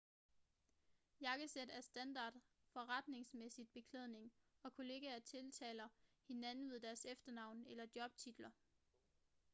jakkesæt er standard forretningsmæssig beklædning og kollegaer tiltaler hinanden ved deres efternavn eller jobtitler